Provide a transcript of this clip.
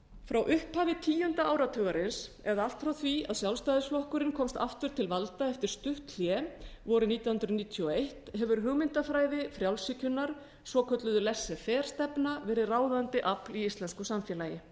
frá upphafi tíunda áratugarins eða allt frá því að sjálfstæðisflokkurinn komst aftur til valda eftir stutt hlé vorið nítján hundruð níutíu og eitt hefur hugmyndafræði frjálshyggjunnar svokölluð letterferstefna verið ráðandi afl í íslensku samfélagi